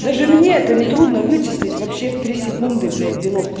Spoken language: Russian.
даже мне это нетрудно вычислить вообще в три секунды блять делов